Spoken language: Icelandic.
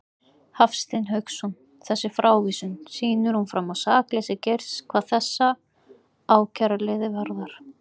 Hafstein Hauksson: Þessi frávísun, sýnir hún fram á sakleysi Geirs hvað þessa ákæruliði varðar?